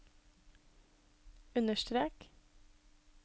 understrek